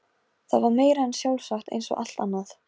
Það var meira en sjálfsagt eins og allt annað.